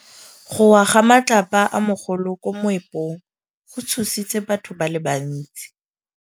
Go wa ga matlapa a magolo ko moepong go tshositse batho ba le bantsi.